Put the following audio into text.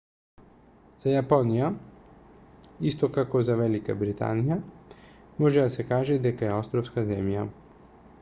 за јапонија исто како за велика британије може да се каже дека е островска земја